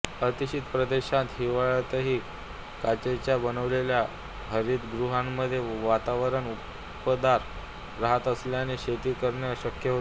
अतिशीत प्रदेशांत हिवाळ्यातही काचेच्या बनवलेल्या हरितगृहांमध्ये वातावरण उबदार रहात असल्याने शेती करणे शक्य होते